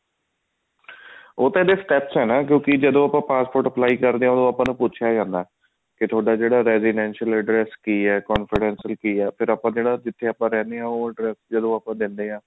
ਉਹ ਤਾਂ steps ਆ ਕਿਉਂਕਿ ਜਦੋਂ ਆਪਾਂ passport apply ਕਰਦੇ ਹਾਂ ਓਦੋਂ ਆਪਾਂ ਨੂੰ ਪੁੱਛਿਆ ਜਾਂਦਾ ਕੇ ਥੋਡਾ ਜਿਹਾ residential address ਕੀ ਹੈ confidential ਕੀ ਹੈ ਜਿੱਥੇ ਪਨ ਰਹਿੰਦੇ ਹਾਂ ਉਹ address ਜਦੋਂ ਆਪਾਂ ਦਿੰਦੇ ਹਾਂ